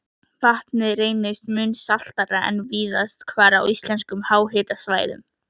Vatnið reyndist mun saltara en víðast hvar á íslenskum háhitasvæðum.